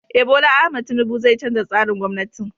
Eh, Bola Ahmad tinubu zai canza tsarin gwamnatin.